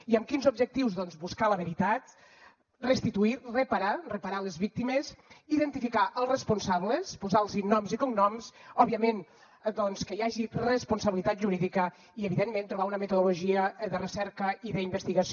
i amb quins objectius doncs buscar la veritat restituir reparar reparar les víctimes identificar els responsables posar los noms i cognoms òbviament doncs que hi hagi responsabilitat jurídica i evidentment trobar una metodologia de recerca i d’investigació